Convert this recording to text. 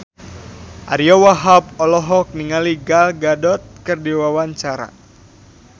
Ariyo Wahab olohok ningali Gal Gadot keur diwawancara